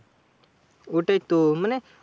ওটাই তো, মানে